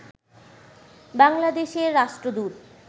বাংলাদেশের রাষ্ট্রদূত